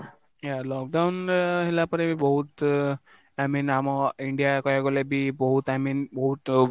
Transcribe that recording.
lockdown ହେଲା ପରେ ବି ବହୁତ I mean ଆମ ଇଣ୍ଡିଆ କହିବାକୁ ଗଲେ ବି ବହୁତ I mean ବହୁତ